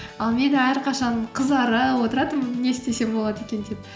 ал мен әрқашан қызарып отыратынмын не істесем болады екен деп